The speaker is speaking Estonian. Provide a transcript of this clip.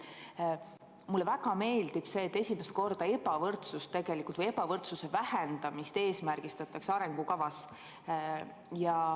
Mulle väga meeldib see, et esimest korda tegelikult ebavõrdsuse vähendamist eesmärgistatakse arengukavas.